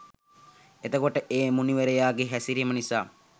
එතකොට ඒ මුනිවරයාගේ හැසිරීම නිසා